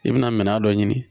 I bɛna minɛn dɔ ɲini